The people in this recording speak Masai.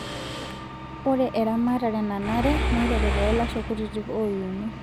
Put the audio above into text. Ore eramatare nanare neiteru too lashoo kutitik oyuni.